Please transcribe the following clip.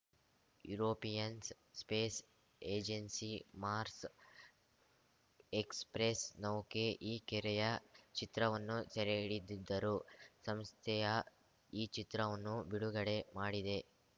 Europeans space agency Mars express ನೌಕೆ ಈ ಕೆರೆಯ ಚಿತ್ರವನ್ನು ಸೆರೆಹಿಡಿದಿದ್ದರು ಸಂಸ್ಥೆಯ ಈ ಚಿತ್ರವನ್ನು ಬಿಡುಗಡೆ ಮಾಡಿದೆ